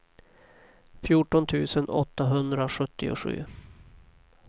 fjorton tusen åttahundrasjuttiosju